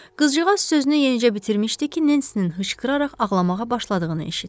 Qızcığaz sözünü yenicə bitirmişdi ki, Nensinin hıçqıraraq ağlamağa başladığını eşitdi.